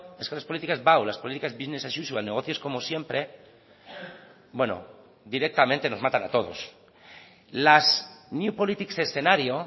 es que las políticas bau business as usual negocios como siempre bueno directamente nos matan a todos las new politics escenario